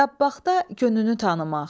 Dabbağda gönünü tanımaq.